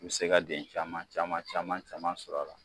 Me se ka den caman caman caman caman sɔr'la.